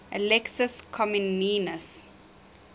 alexius comnenus